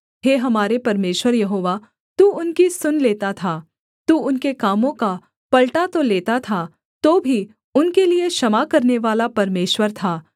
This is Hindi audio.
हे हमारे परमेश्वर यहोवा तू उनकी सुन लेता था तू उनके कामों का पलटा तो लेता था तो भी उनके लिये क्षमा करनेवाला परमेश्वर था